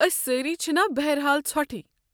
أسۍ سٲری چھِنا بہر حال ژھۄٹھٕے۔